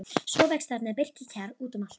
Svo vex þarna birkikjarr út um allt.